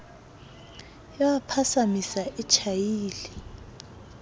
ba ya phasaphasa e tjhaile